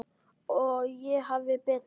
Og ég hafði betur.